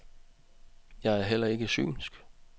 Jeg er heller ikke synsk.